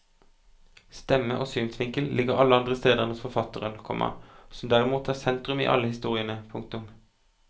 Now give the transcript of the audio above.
Stemme og synsvinkel ligger alle andre steder enn hos forfatteren, komma som derimot er sentrum i alle historiene. punktum